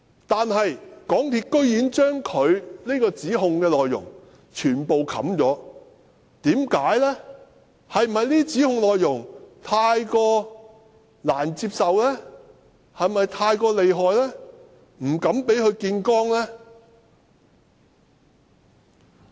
但是，港鐵公司居然將他指控的內容全部掩蓋，是否因為這些指控內容太難接受、太厲害，所以不敢公開這些指控？